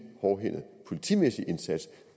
hårdhændet politimæssig indsats